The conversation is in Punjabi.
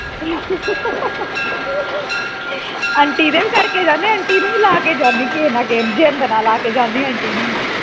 ਨਹੀਂ ਨਹੀਂ ਫੋਨ ਨਹੀਂ ਮੈਂ ਕਰਦਾ ਆ ਲਾਸਟ ਵਾਰੀ ਹੈ ਨਾ ਕੇ ਇਕ।